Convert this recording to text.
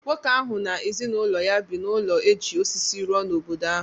Nwoke ahụ na ezinụlọ ya bi n’ụlọ e ji osisi rụọ n’obodo ahụ.